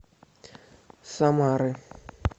самары